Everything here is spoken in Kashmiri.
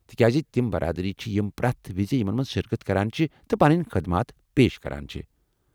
تہ کیٛازِ تِم برادری چھے٘ ، یم پرٛٮ۪تھ وِزِ یمن منٛز شرکت کران چھِ، تہٕ پنٕنۍ خدمات پیش کران چھےٚ۔